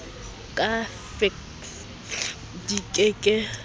ka fekse di ke ke